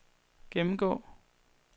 gennemgå